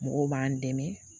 Mɔgɔw b'an dɛmɛ